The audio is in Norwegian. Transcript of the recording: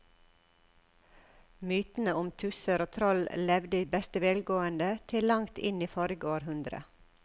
Mytene om tusser og troll levde i beste velgående til langt inn i forrige århundre.